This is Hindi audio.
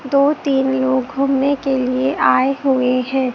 दो तीन लोग घूमने के लिए आए हुए हैं।